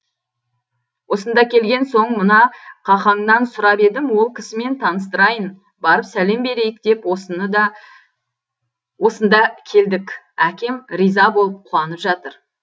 осында келген соң мына қақаңнан сұрап едім ол кісімен таныстырайын барып сәлем берейік деп осында келдік әкем риза болып қуанып жатыр